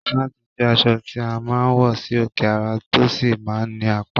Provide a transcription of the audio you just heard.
Sáàtì jẹ́ aṣọ tí a máa ń wọ sí òkè ara, tó sì máa ń ní apá